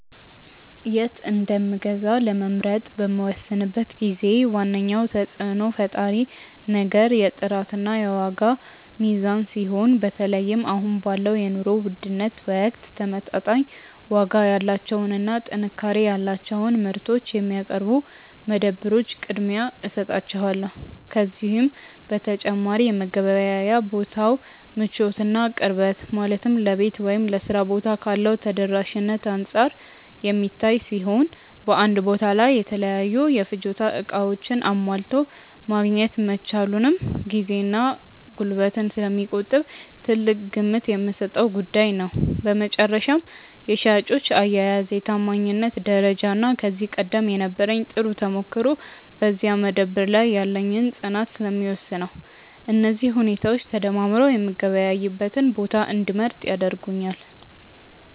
የት እንደምገዛ ለመምረጥ በምወስንበት ጊዜ ዋነኛው ተጽዕኖ ፈጣሪ ነገር የጥራትና የዋጋ ሚዛን ሲሆን፣ በተለይም አሁን ባለው የኑሮ ውድነት ወቅት ተመጣጣኝ ዋጋ ያላቸውንና ጥንካሬ ያላቸውን ምርቶች የሚያቀርቡ መደብሮች ቅድሚያ እሰጣቸዋለሁ። ከዚህ በተጨማሪ የመገበያያ ቦታው ምቾትና ቅርበት፣ ማለትም ለቤት ወይም ለሥራ ቦታ ካለው ተደራሽነት አንጻር የሚታይ ሲሆን፣ በአንድ ቦታ ላይ የተለያዩ የፍጆታ ዕቃዎችን አሟልቶ ማግኘት መቻሉም ጊዜንና ጉልበትን ስለሚቆጥብ ትልቅ ግምት የምሰጠው ጉዳይ ነው። በመጨረሻም የሻጮች አያያዝ፣ የታማኝነት ደረጃና ከዚህ ቀደም የነበረኝ ጥሩ ተሞክሮ በዚያ መደብር ላይ ያለኝን ፅናት ስለሚወስነው፣ እነዚህ ሁኔታዎች ተደማምረው የምገበያይበትን ቦታ እንድመርጥ ያደርጉኛል።